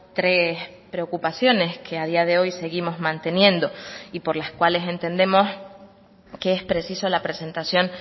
tres preocupaciones que a día de hoy seguimos manteniendo y por las cuales entendemos que es preciso la presentación